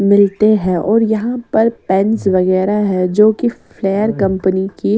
मिलते हैं और यहां पर पेन्स वगैरा हैं जो की फ्लेर कंपनी की--